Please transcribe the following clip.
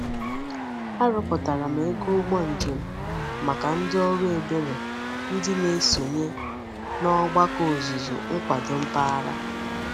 Aroputara m ego ugbo njem maka ndi oru ebere ndi na-esonye n'ogbako ozuzu nkwado mpaghara.